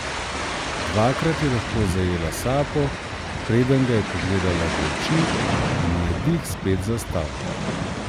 Dvakrat je lahko zajela sapo, preden ga je pogledala v oči in ji je dih spet zastal.